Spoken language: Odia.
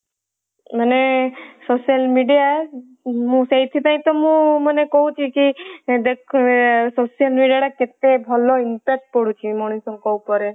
ମାନେ social media ମୁଁ ସେଇଥିପାଇଁ ତ ମୁଁ ମାନେ କହୁଛି କି ଦେଖ social media ଟା କେତେ ଭଲ impact ପଡୁଛି ମଣିଷଙ୍କ ଉପରେ।